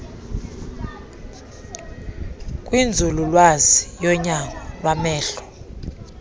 kwinzululwazi yonyango lwamehlo